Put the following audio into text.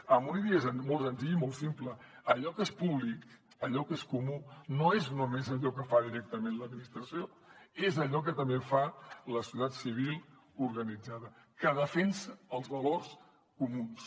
amb una idea molt senzilla i molt simple allò que és públic allò que és comú no és només allò que fa directament l’administració és allò que també fa la societat civil organitzada que defensa els valors comuns